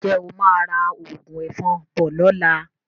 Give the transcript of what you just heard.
Ǹjẹ́ o máa ra òògùn ẹ̀fọn bọ̀ lọ́la?